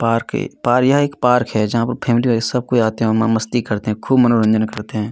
Park है पर यह एक पार्क है जहां पर फैमिली में सब कोई आते हैं और मै मस्ती करते हैं खूब मनोरंजन करते हैं।